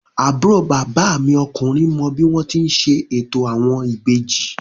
Àbúrò bàbá mi ọkùnrin mọ bí wọ́n ti ń ṣe ètò àwọn ìbejì